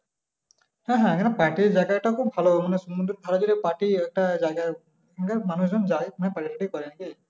হ্যাঁ হ্যাঁ এখানে party র জায়গাটা খুব ভালো মানে সমুদ্রের ধারে যদি party একটা জায়গা মানুষজন যায় party টাটি করে নাকি?